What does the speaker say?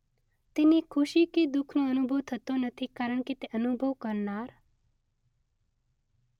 તેને ખુશી કે દુઃખનો અનુભવ થતો નથી કારણ કે તે અનુભવ કરનાર